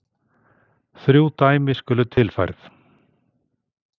Þrjú dæmi skulu tilfærð.